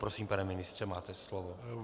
Prosím, pane ministře, máte slovo.